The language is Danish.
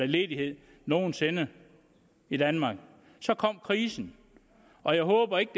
ledighed nogen sinde i danmark så kom krisen og jeg håber ikke